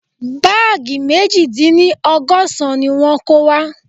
Báàgì meji dín ní ọgọ́sán ni wọ́n kó wá